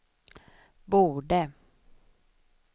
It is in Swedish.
borde